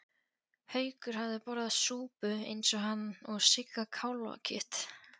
Haukur hafði borðað súpu eins og hann og Sigga kálfakjöt.